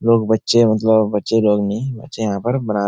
लोग बच्चे मतलब बच्चे लोग नहीं बच्चे यहाँ पर बना --